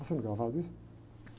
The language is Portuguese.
Está sendo gravado isso?